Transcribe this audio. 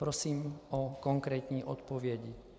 Prosím o konkrétní odpovědi.